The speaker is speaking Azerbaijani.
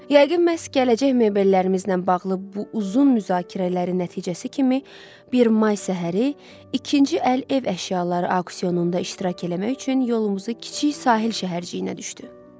Yəqin məhz gələcək mebellərimizlə bağlı bu uzun müzakirələrin nəticəsi kimi bir may səhəri ikinci əl ev əşyaları auksionunda iştirak eləmək üçün yolumuzu kiçik sahil şəhərciyinə düşdü.